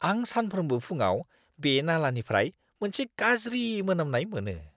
आं सानफ्रोमबो फुंआव बे नालानिफ्राय मोनसे गाज्रि मोनामनाय मोनो।